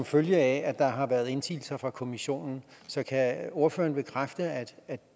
følge af at der har været indsigelser fra kommissionen så kan ordføreren bekræfte at